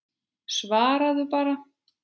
Svaraðu bara.